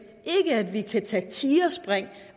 vi tage tigerspring